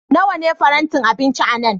Nawa ne farantin abinci a nan?